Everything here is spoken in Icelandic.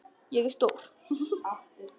Ég er stór.